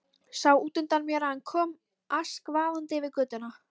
Sá útundan mér að hann kom askvaðandi yfir götuna.